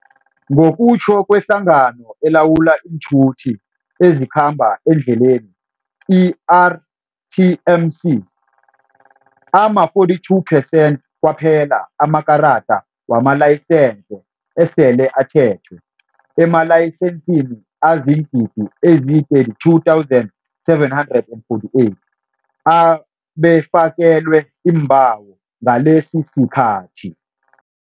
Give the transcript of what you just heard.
Ngokutjho kweHlangano eLawula iiNthuthi eziKhamba eNdleleni, i-RTMC, ama-42 percent kwaphela amakarada wamalayisense esele athethwe, emalayisensini azii-32 748 abekafakelwe iimbawo ngalesisikhathi.